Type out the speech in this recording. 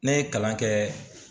Ne ye kalan kɛ